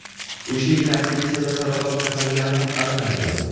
O‘sha yili aktrisada saraton kasalligi ham aniqlangan.